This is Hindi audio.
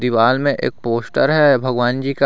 वॉल में एक पोस्टर है भगवान जी का।